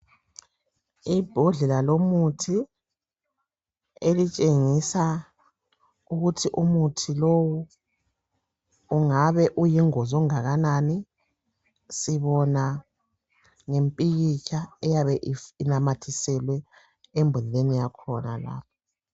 Imbodlela yomuthi etshengisa ukuthi umuthi lowu ungabe uyingozi okungakanani sibona ngompikitshq oyabe unamathiselwe embodleleni yakhona lapha.